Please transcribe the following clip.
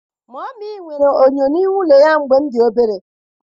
Mummy nwere enyo n'ime ụlọ ya mgbe m dị obere.